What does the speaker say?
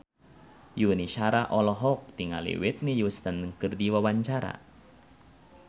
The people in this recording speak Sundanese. Yuni Shara olohok ningali Whitney Houston keur diwawancara